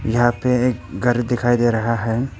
यहां पे एक घर दिखाई दे रहा है।